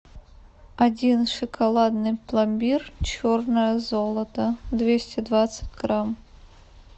один шоколадный пломбир черное золото двести двадцать грамм